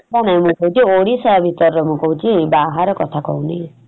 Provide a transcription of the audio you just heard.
ନାଇଁ ନାଇଁ ଗୋଟେ ଓଡିଶା ଭିତରେ ମୁଁ କହୁଚି ବାହାର କଥା କହୁନି ।